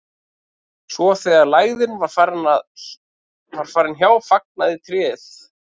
svo þegar lægðin var farin hjá fagnaði tréð